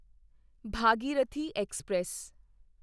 Bhagirathi express